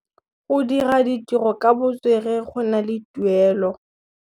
Go dira ditirô ka botswerere go na le tuelô.